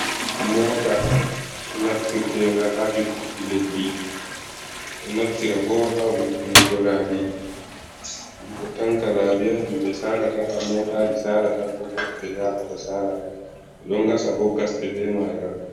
Mota naftirtenga ha irtuki leddi, o naftira bo ha vo’itunuggo labi, ɗum ɗo tanka labi ha himɓe salata ha motaji salata ko koste yabata sala. ɓe ɗon gasa bo gasɗe be maaga.